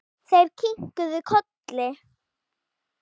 Þeir kinkuðu kolli.